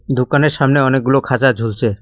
দোকানের সামনে অনেকগুলো খাঁচা ঝুলছে।